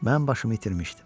Mən başımı itirmişdim.